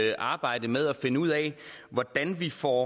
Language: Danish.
i arbejdet med at finde ud af hvordan vi får